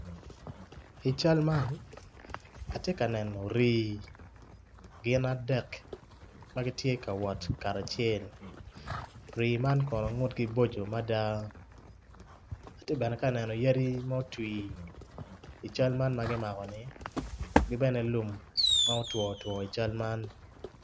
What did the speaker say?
I cal man ati ka neno rii gin adek ma giti ka wot kara acel rii man kono ngutgi boco mada ati bene ka neno yadi mutwi i cal man ma gimako-ni gibene lum ma otwo two i cal man